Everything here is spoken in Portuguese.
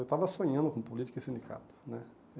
Eu estava sonhando com política e sindicato né.